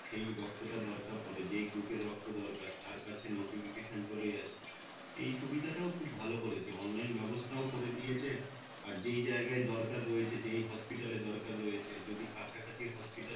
সে রক্ত টা দরকার পরে যেই গুরুপের রক্ত দরকার তার কাছে notification চলে যাচ্ছে এই সুবিধা টাও খুব ভালো করেছে অনলাইন ব্যবস্থাও করে দিয়েছে আর যে জায়গায় দরকার রয়েছে যে hospital দরকার রয়েছে যদি কাছা কাছি hospital